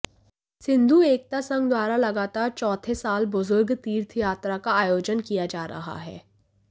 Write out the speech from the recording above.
सिंधु एकता संघ द्वारा लगातार चौथे साल बुजुर्ग तीर्थयात्रा का आयोजन किया जा रहा है